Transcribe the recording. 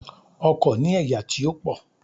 Ọkò ní ẹ̀yà tí ó pò